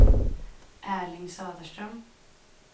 Erling Söderström